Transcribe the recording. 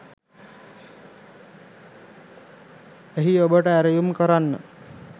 එහි ඔබට ඇරයුම් කරන්න